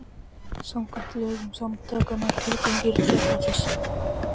Samkvæmt lögum samtakanna er tilgangur þeirra þessi